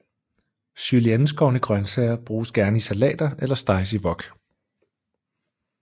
Julienneskårne grønsager bruges gerne i salater eller steges i wok